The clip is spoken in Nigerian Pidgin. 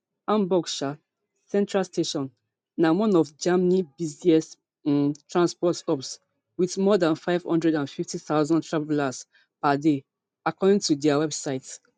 hamburg um central station na one of germany busiest um transport hubs wit more dan five hundred and fifty thousand travellers per day according to dia website